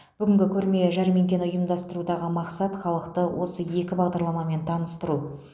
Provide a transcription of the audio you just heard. бүгінгі көрме жәрмеңкені ұйымдастырудағы мақсат халықты осы екі бағдарламамен таныстыру